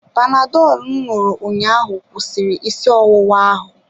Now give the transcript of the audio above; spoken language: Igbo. Panadọlụ m ṅụrụ ụnyaahụ kwụsịrị isi ọwụwa ahụ.